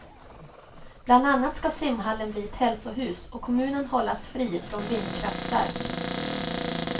Bland annat ska simhallen bli ett hälsohus och kommunen hållas fri från vindkraftverk.